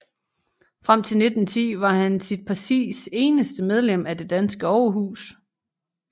Frem til 1910 var han sit partis eneste medlem af det danske overhus